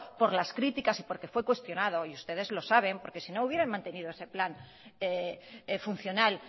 por las críticas y porque fue cuestionado y ustedes lo saben porque sino hubieran mantenido ese plan funcional